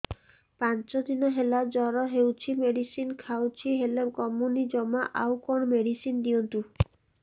ପାଞ୍ଚ ଦିନ ହେଲା ଜର ହଉଛି ମେଡିସିନ ଖାଇଛି ହେଲେ କମୁନି ଜମା ଆଉ କଣ ମେଡ଼ିସିନ ଦିଅନ୍ତୁ